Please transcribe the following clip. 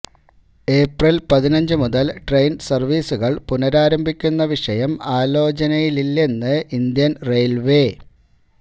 April പതിനഞ്ച് മുതല് train സര്വ്വീസുകള് പുനഃരാരംഭിക്കുന്ന വിഷയം ആലോചനയിലില്ലെന്ന് ഇന്ത്യൻ ഈവ്യിൽവേ